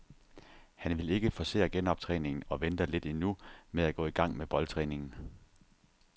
Han vil ikke forcere genoptræningen og venter lidt endnu med at gå i gang med boldtræningen.